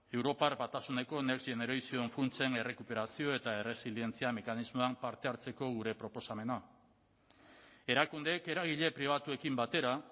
europar batasuneko next generation funtsen errekuperazio eta erresilientzia mekanismoan parte hartzeko gure proposamena erakundeek eragile pribatuekin batera